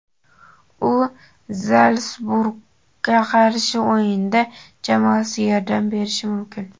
U "Zalsburg"ga qarshi o‘yinda jamoasiga yordam berishi mumkin;.